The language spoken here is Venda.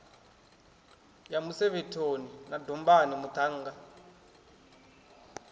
ya musevhethoni na dombani muṱhannga